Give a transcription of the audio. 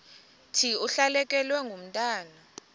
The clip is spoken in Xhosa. thi ulahlekelwe ngumntwana